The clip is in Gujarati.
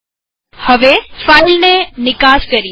ચાલો હવે ફાઈલને નિકાસએક્સપોર્ટ કરીએ